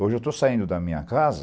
Hoje eu estou saindo da minha casa